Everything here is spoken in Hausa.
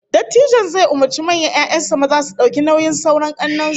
Dattijon zai umurci manyan 'ya'yan sa maza su dauki nauyin sauran kannen su